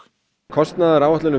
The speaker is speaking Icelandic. kostnaðaráætlunin